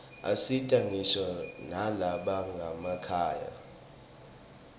asita ngisho nalabanganamakhaya